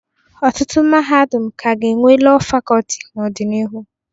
Ọtụtụ mahadum ka ga-enwe Lọọ Fakọlti n'ọdịnihu.